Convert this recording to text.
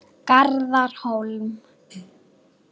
Garðar Hólm.